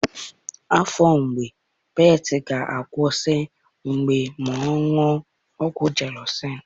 Afọ mgbu pete ga akwusi ma oṅụọ ọgwụ gelusil